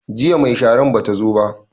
Jiya mai sharan bata zo ba